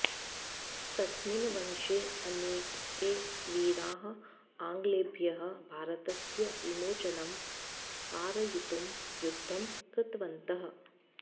तस्मिन् वंशे अनेके वीराः आङ्ग्लेभ्यः भारतस्य विमोचनं कारयितुं युद्धं कृतवन्तः